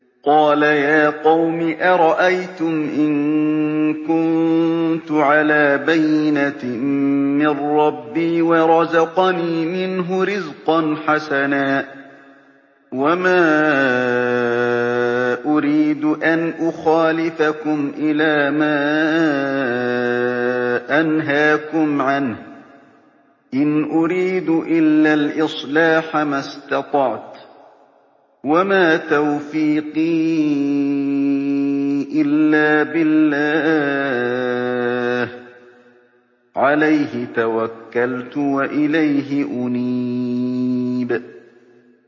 قَالَ يَا قَوْمِ أَرَأَيْتُمْ إِن كُنتُ عَلَىٰ بَيِّنَةٍ مِّن رَّبِّي وَرَزَقَنِي مِنْهُ رِزْقًا حَسَنًا ۚ وَمَا أُرِيدُ أَنْ أُخَالِفَكُمْ إِلَىٰ مَا أَنْهَاكُمْ عَنْهُ ۚ إِنْ أُرِيدُ إِلَّا الْإِصْلَاحَ مَا اسْتَطَعْتُ ۚ وَمَا تَوْفِيقِي إِلَّا بِاللَّهِ ۚ عَلَيْهِ تَوَكَّلْتُ وَإِلَيْهِ أُنِيبُ